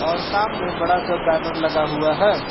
और सामने बड़ा सा बैनर लगा हुआ है।